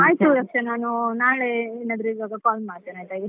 ಆಯಿತು ರಕ್ಷಾ ನಾನು ನಾಳೆ ಏನಾದ್ರು call ಮಾಡ್ತೇನೆ.